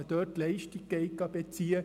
– man dort Leistung bezieht: